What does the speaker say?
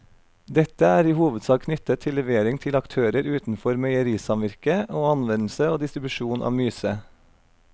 Dette er i hovedsak knyttet til levering til aktører utenfor meierisamvirket og anvendelse og distribusjon av myse.